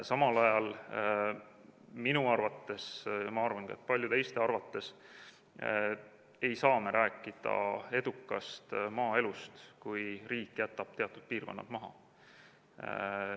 Samal ajal, minu arvates, ja ma arvan ka, et paljude teiste arvates, ei saa me rääkida edukast maaelust, kui riik jätab teatud piirkonnad maha.